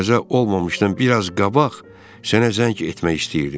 Qəza olmamışdan biraz qabaq sənə zəng etmək istəyirdim.